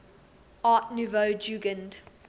art nouveau jugend